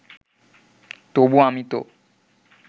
তবু আমি তো